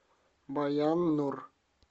баян нур